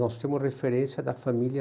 Nós temos referência da família...